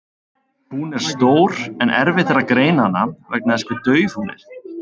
Hún er stór en erfitt er að greina hana vegna þess hve dauf hún er.